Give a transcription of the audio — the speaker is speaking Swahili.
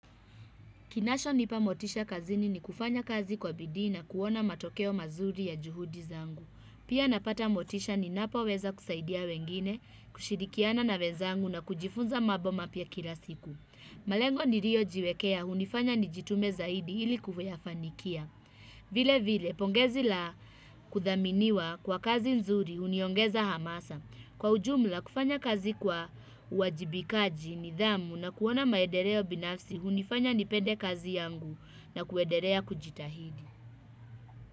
Kinachonipa motisha kazini ni kufanya kazi kwa bidii na kuona matokeo mazuri ya juhudi zangu. Pia napata motisha ninapoweza kusaidia wengine, kushirikiana na wezangu na kujifunza mambo mapya kila siku. Malengo niliojiwekea, hunifanya ni jitume zaidi ili kuyafanikia. Vile vile, pongezi la kuthaminiwa kwa kazi nzuri, huniongeza hamasa. Kwa ujumla kufanya kazi kwa uwajibikaji nidhamu na kuona maedeleo binafsi hunifanya nipende kazi yangu na kuederea kujitahidi.